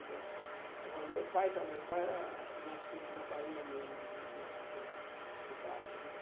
vô. Agora, o meu pai já o meu pai era nascido na Bahia mesmo, ali na na cidade, né?